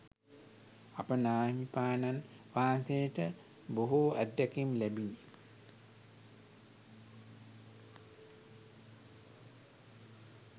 අප නාහිමිපාණන් වහන්සේට බොහෝ අත්දැකීම් ලැබිණි.